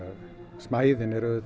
smæðin er auðvitað